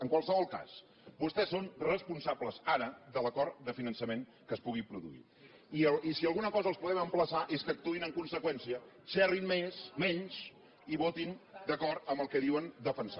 en qualsevol cas vostès són responsables ara de l’acord de finançament que es pugui produir i si a alguna cosa els podem emplaçar és que actuïn en conseqüència xerrin menys i votin d’acord amb el que diuen defensar